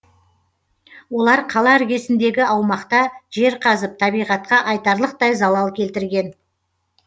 олар қала іргесіндегі аумақта жер қазып табиғатқа айтарлықтай залал келтірген